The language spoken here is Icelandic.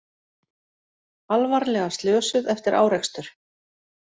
Alvarlega slösuð eftir árekstur